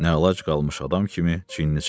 Nə əlac qalmış adam kimi çiynini çəkdi.